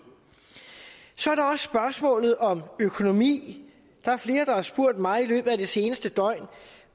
så er der også spørgsmålet om økonomi der er flere der har spurgt mig i løbet af det seneste døgn